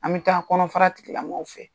An bɛ taa kɔnɔfara tigilamƆgƆw fɛ